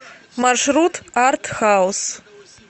маршрут арт хаус